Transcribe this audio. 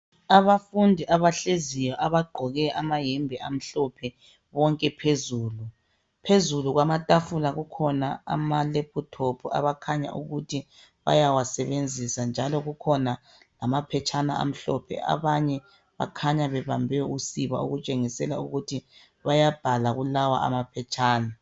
Abafundi abahleziyo abagqoke amayembe amhlophe bonke phezulu. Phezulu kwamatafula kukhona amalephuthophu abakhanya ukuthi bayawasebenzisa njalo kukhona lamaphetshana amhlophe. Abanye bakhanya bebambe usiba okutshengisela ukuthi bayabhala kulawa amaphetshana.